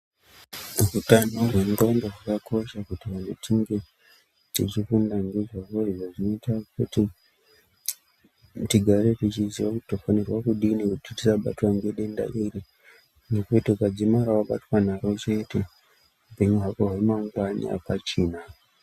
Utano hwendxondo hwakakosha kuti vantu tinge tichifunda ndizvo. Izvi zvinoita kut tigare tichiziya kuti tinofanirwa kudini kiti tisabatwa ngedenda iri. Ngekuti ukadzimara wabatwa naro chete, upenyu hwako hwamangwani hapachina.